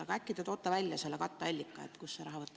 Aga äkki te toote välja selle katteallika, kust see raha võtta.